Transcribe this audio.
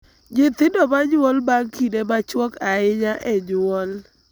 Nyithindo ma nyuol bang� kinde machuok ahinya e nyuol,